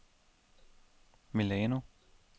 Milano